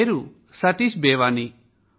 నా పేరు సతీశ్ బేవానీ